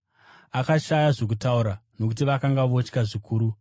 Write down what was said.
Akashaya zvokutaura, nokuti vakanga votya zvikuru.